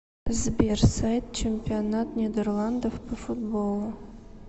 сбер сайт чемпионат нидерландов по футболу